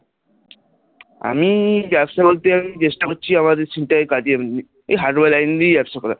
আমি ব্যবসা করতে চেষ্টা করছি আমাদের কাজের এই hardware line নিয়ে ব্যবসা করার,